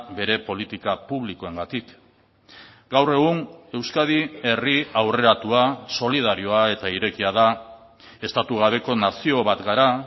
bere politika publikoengatik gaur egun euskadi herri aurreratua solidarioa eta irekia da estatu gabeko nazio bat gara